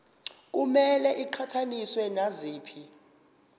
kumele iqhathaniswe naziphi